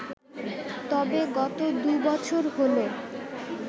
তবে গত দুবছর হল